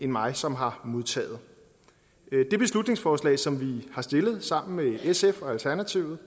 mig som har modtaget det beslutningsforslaget som vi sammen med sf og alternativet